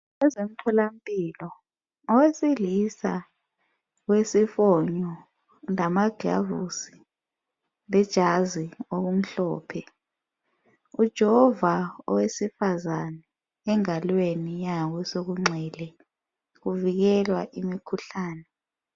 kwezomtholampilo owesilisa wesifonyo lamaglavusi lejazi okumhlophe ujova owesifazana engalweni yakwesokunxele kuvikelwa imikhuhlane